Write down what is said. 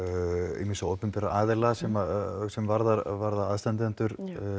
ýmissa opinberra aðila sem sem varðar varðar aðstandendur